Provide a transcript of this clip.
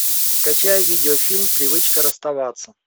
скачай видеофильм привычка расставаться